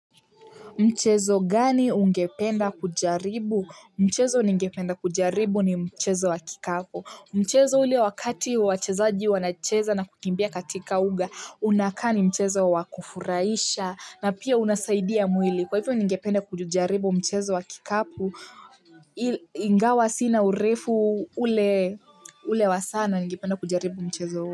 Mchezo gani ungependa kujaribu mchezo ningependa kujaribu ni mchezo wa kikapu mchezo ule wakati wachezaji wanacheza na kukimbia katika uga unakaa ni mchezo wakufurahisha na pia unasaidia mwili kwa hivyo ningependa kujaribu mchezo wa kikapo. Ingawa sina urefu ule ule wa sana ningependa kujaribu mchezo huu.